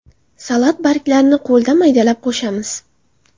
Salat barglarini qo‘lda maydalab qo‘shamiz.